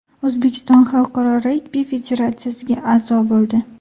O‘zbekiston Xalqaro regbi federatsiyasiga a’zo bo‘ldi.